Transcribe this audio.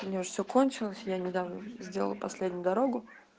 у меня уже все кончилось я недавно сделала последнюю дорогу